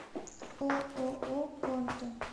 ооо конто